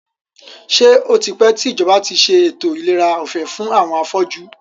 Ṣé o tipẹ́ tí ìjọba tí ṣe ètò ìlera ọ̀fẹ́ fún àwọn afọ́jú?